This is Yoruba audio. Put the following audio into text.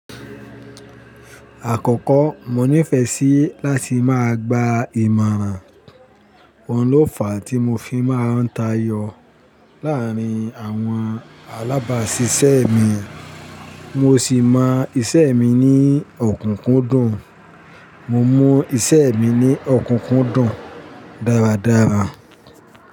Àkọ́kọ́ mo nífẹẹ sí láti máa gba ìmọ̀ràn. Oun lófà tí mo fi máa ń tayọ láàárín àwọn alábàásisẹ́ mi. Mo sì mọ iṣẹ́ mi ní òkúnkúndùn. Mo mu iṣẹ́ mi ní òkúnkúndùn dáradára.